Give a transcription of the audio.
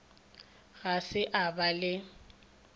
ga se a ba le